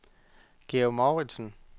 Georg Mouritsen